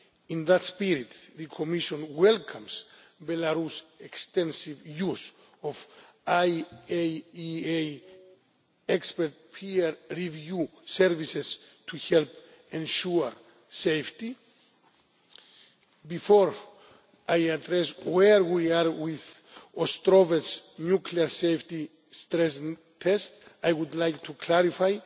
In that spirit, the Commission welcomes Belarus's extensive use of IAEA expert peer review services to help ensure safety. Before I address where we are with the Ostrovets nuclear safety stress test, I would like to clarify